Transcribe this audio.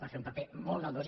va fer un paper molt galdós